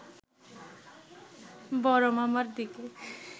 বড়মামার দিকে